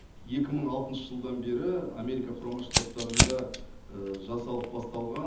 екі мың алтыншы жылдан бері америка құрама штаттарында жасалып басталған